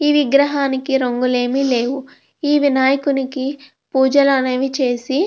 ఈ విగ్రహానికి రంగులు ఏమి లేవు. ఈ వినాయకుడికి పూజలు అనేవి చేసి --